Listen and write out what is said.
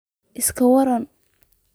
iska waran